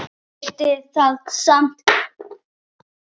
Þeir geta það samt.